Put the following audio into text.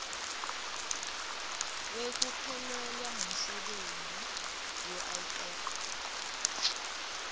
wekuphelelwa ngumsebenti uif